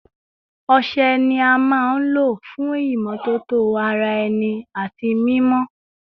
Ọṣẹ ni a maa n lo fun imọtoto ara ẹni ati mimọ